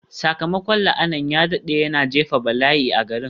Sakamakon la'anar ya daɗe, yana jefa bala'i a garin.